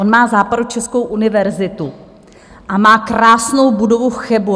On má Západočeskou univerzitu a má krásnou budovu v Chebu.